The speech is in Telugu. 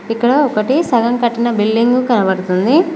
ఇక్కడ ఒకటి సగం కట్టిన బిల్డింగు కనపడుతుంది.